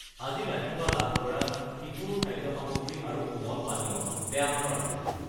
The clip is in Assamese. আজি ৰাতিপুৱা লাভ কৰা শিশুৰ খাদ্য সামগ্ৰী আৰু কোমল পানীয় বেয়া মানৰ আছিল।